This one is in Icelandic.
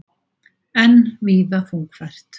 Enn víða þungfært